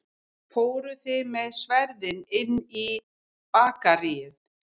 Fóruð þið með sverðin inn í Bakaríið?